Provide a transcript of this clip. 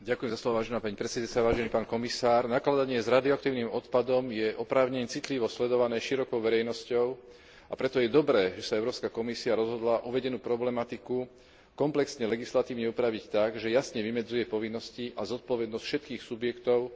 Nakladanie s rádioaktívnym odpadom je oprávnene citlivo sledované širokou verejnosťou, a preto je dobré, že sa Európska komisia rozhodla uvedenú problematiku komplexne legislatívne upraviť tak, že jasne vymedzuje povinnosti a zodpovednosť všetkých subjektov podieľajúcich sa na tejto procedúre.